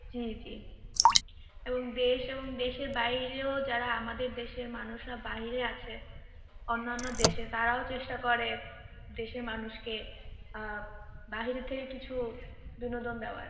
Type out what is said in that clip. জী জী, এবং দেশ এবং দেশের বাহিরেও যারা আমাদের দেশের মানুষরা বাহিরে আছে অন্যান্য দেশে তারাও চেষ্টা করে দেশের মানুষকে আহ বাহিরে থেকে কিছু বিনোদন দেওয়ার